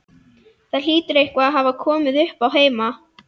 Það hlýtur eitthvað að hafa komið uppá heima.